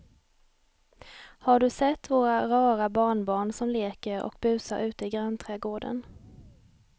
Har du sett våra rara barnbarn som leker och busar ute i grannträdgården!